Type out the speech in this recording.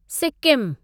सिक्किमु